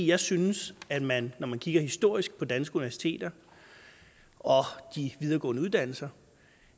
jeg synes at man når man kigger historisk på danske universiteter og de videregående uddannelser